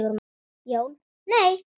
Jón: Nei.